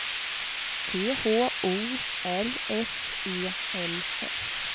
T H O R S E L L